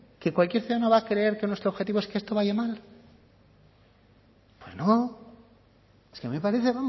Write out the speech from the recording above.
que cualquier ciudadano va a creer que nuestro objetivo es que esto vaya mal pues no es que a mí me parece